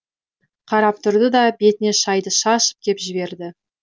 қарап тұрды да бетіне шайды шашып кеп жіберді